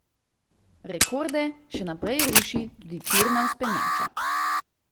Rekorde še naprej ruši tudi tirna vzpenjača.